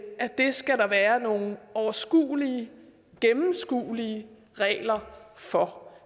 at der skal være nogle overskuelige og gennemskuelige regler for